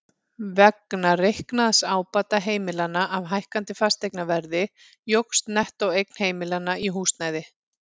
Vegna reiknaðs ábata heimilanna af hækkandi fasteignaverði jókst nettóeign heimilanna í húsnæði.